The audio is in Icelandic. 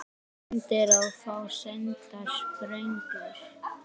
Sendiráð fá sendar sprengjur